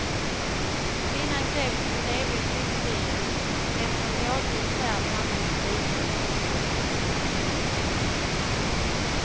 Kvinnan greps bredvid flyktbilen, som efter en vådlig färd hamnat i diket.